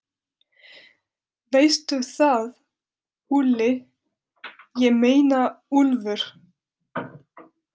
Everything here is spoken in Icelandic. Veistu það, Úlli, ég meina Úlfur.